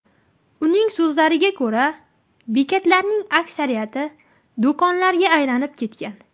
Uning so‘zlariga ko‘ra, bekatlarning aksariyati do‘konlarga aylanib ketgan.